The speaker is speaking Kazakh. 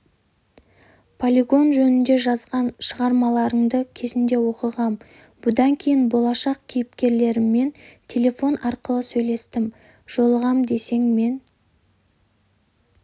полигон жөнінде жазған шығармаларыңды кезінде оқығам бұдан кейін болашақ кейіпкерлеріммен телефон арқылы сөйлестім жолығам десең мен